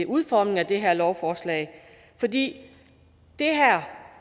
udformningen af det her lovforslag for det